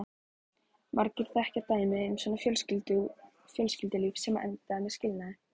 Margir þekkja dæmi um svona fjölskyldulíf sem enda með skilnaði.